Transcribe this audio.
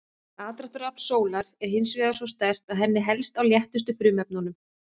Aðdráttarafl sólar er hins vegar svo sterkt að henni helst á léttustu frumefnunum.